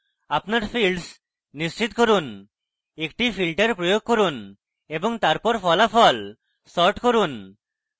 আপনার fields নিশ্চিত করুন একটি filter প্রয়োগ করুন এবং তারপর ফলাফল sort করুন